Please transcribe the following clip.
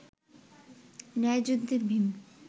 ন্যায়যুদ্ধে Bhim